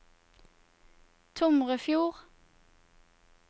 Tomrefjord